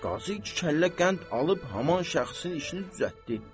Qazı iki kəllə qənd alıb haman şəxsin işini düzəltdi.